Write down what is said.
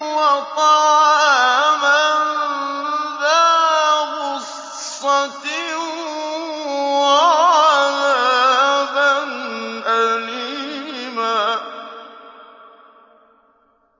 وَطَعَامًا ذَا غُصَّةٍ وَعَذَابًا أَلِيمًا